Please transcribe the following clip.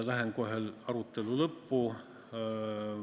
Lähen kohe arutelu lõppu.